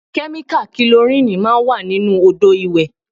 Kẹ́míkà kilorínìì máa ń wà nínú Odò ìwẹ̀.